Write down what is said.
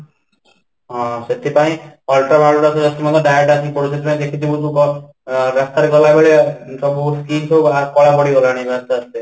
ହଁ, ସେଥିପାଇଁ ultra violet ରଶ୍ମି ଗୁଡା direct ଆସିକି ପଡୁଛି ସେଥିପାଇଁ ଦେଖିଥିବୁ ତୁ ତ ରାସ୍ତା ରେ ଗଲା ବେଳେ କଳା ପଡ଼ିଗଲାଣି